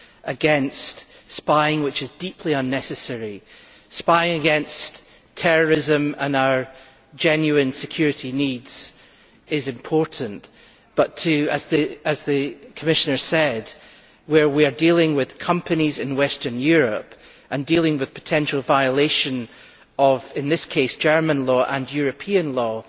against this deeply unnecessary spying. Spying against terrorism and our genuine security needs is important but, as the Commissioner said, here we are dealing with companies in Western Europe and dealing with potential violation of in this case German law and European law.